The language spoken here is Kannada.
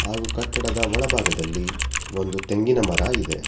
ಹಾಗು ಕಟ್ಟಡದ ಒಳಭಾಗದಲ್ಲಿ ಒಂದು ತೆಂಗಿನ ಮರ ಇದೆ.